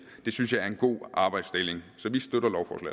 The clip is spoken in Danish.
synes jeg er en god arbejdsdeling så